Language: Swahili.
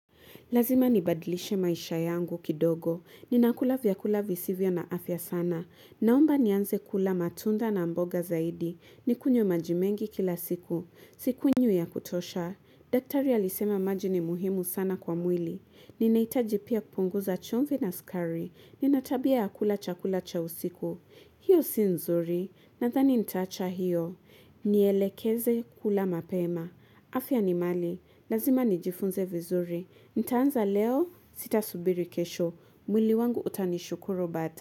Lazima nibadlishe maisha yangu kidogo. Ninakula vyakula visivyo na afya sana. Naomba nianze kula matunda na mboga zaidi. Nikunywe maji mengi kila siku. Sikunywi ya kutosha. Daktari alisema maji ni muhimu sana kwa mwili. Ninahitaji pia kupunguza chumvi na sukari. Ninatabia ya kula chakula cha usiku. Hio si nzuri. Nadhani nitaacha hiyo. Nielekeze kula mapema. Afya ni mali. Lazima nijifunze vizuri. Nitaanza leo sitasubiri kesho. Mwili wangu utanishukuru bata.